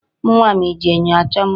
Ụmụ nwaanyị ji enyo achọ mma.